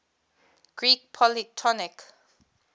greek polytonic